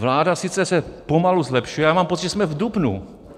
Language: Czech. Vláda se sice pomalu zlepšuje, ale mám pocit, že jsme v dubnu.